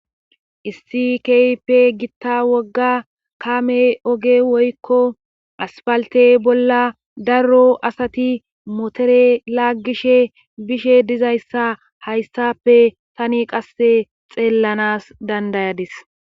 Issi kehippe gita kame oge woykon aspalite bolla daro asati motore lagishe bishe dizaysa haysappe tani qase xellanas dandayadis